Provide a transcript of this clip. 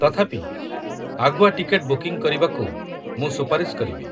ତଥାପି, ଆଗୁଆ ticket booking କରିବାକୁ ମୁଁ ସୁପାରିଶ କରିବି।